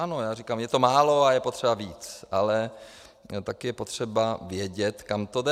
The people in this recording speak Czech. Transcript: Ano, já říkám, je to málo a je potřeba víc, ale taky je potřeba vědět, kam to jde.